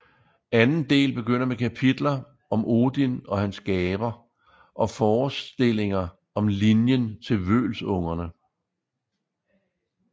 Anden del begynder med kapitler om Odin og hans gaver og forestillinger om linjen til Vølsungerne